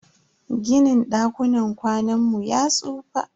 Ginin dakunan kwanan mu ya tsufa.